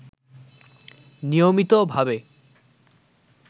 নিয়মিতভাবে